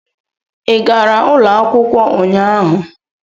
Ị gara ụlọ akwụkwọ ụnyaahụ?